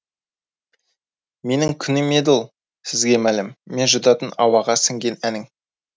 менің күнім еді ол сізге мәлім мен жұтатын ауаға сіңген әнің